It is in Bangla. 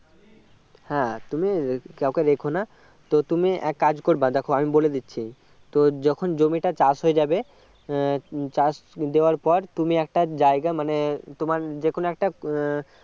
হ্যাঁ তুমি কাউকে রেখো না তো তুমি এক কাজ করবে দেখো আমি বলে দিচ্ছি তো যখন জমিটা চাষ হয়ে যাবে উম চাষ দেওয়ার পর তুমি একটা জায়গা মানে তোমার যে কোনও একটা উম